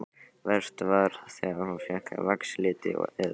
Verst var þegar hún fékk vaxliti að gjöf.